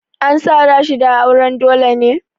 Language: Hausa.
An sa Rashida auren dole ne?